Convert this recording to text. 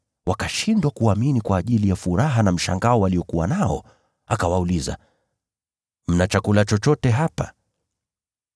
Wakashindwa kuamini kwa ajili ya furaha na mshangao waliokuwa nao. Akawauliza, “Mna chakula chochote hapa?”